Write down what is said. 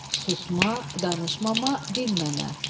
Susma, danışmama, dinməmə.